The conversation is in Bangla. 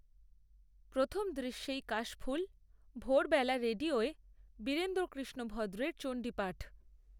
প্রথম দৃশ্যেই কাশফুলভোরবেলা রেডিওয়বীরেন্দ্রকৃষ্ণ ভদ্রের চণ্ডীপাঠ